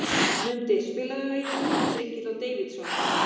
Mundi, spilaðu lagið „Vítisengill á Davidson“.